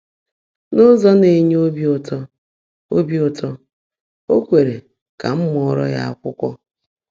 N’ụ́zọ́ ná-ènyé óbí ụ́tọ́, óbí ụ́tọ́, ó kweèré kà m mụ́ọ́ró yá ákwụ́kwọ́.